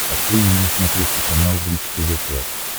открой мне на смотрешке канал бридж тв классик